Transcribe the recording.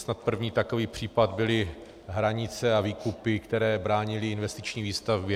Snad první takový případ byly hranice a výkupy, které bránily investiční výstavbě.